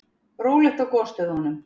Rólegt á gosstöðvunum